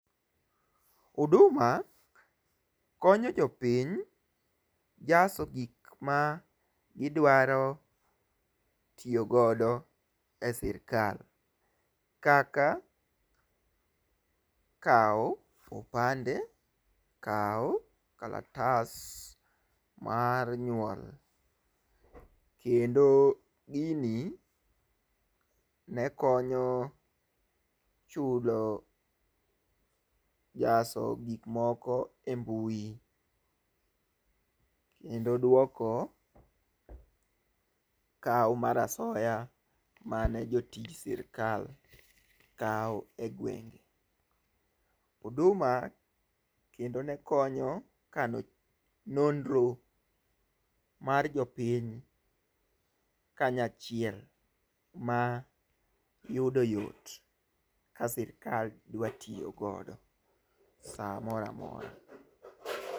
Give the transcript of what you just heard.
Huduma konyo jopiny e jaso gik midwaro tiyo godo e sirikal kaka kawo opande ,kawo kalatas mar nyuol. Kendo gini ne konyo chulo jaso gik moko e mbui kendo dwoko kawo mar asoya mane jotij sirikal kawo e gwenge. Huduma kendo ne konyo kano nonro mar jopiny kanyachiel ma yudo yot ka sirkal dwa tiyo godo samoramora.